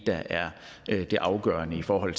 der er det afgørende for at